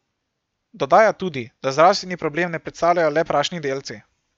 Dodaja tudi, da zdravstveni problem ne predstavljajo le prašni delci.